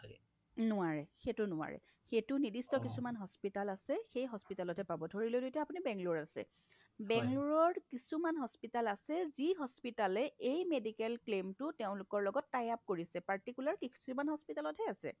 নোৱাৰে সেইটো নোৱাৰে সেইটো নিৰ্দিষ্ট কিছুমান hospital আছে সেই hospitalত হে পাব ধৰিললো আপুনি এতিয়া bangaloreত আছে bangaloreৰ কিছুমান hospital আছে যি hospital এ medical claim টো তেওঁলোকৰ লগত tie-up কৰিছে particular কিছুমান hospital তহে আছে